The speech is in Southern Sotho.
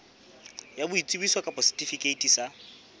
ya boitsebiso kapa setifikeiti sa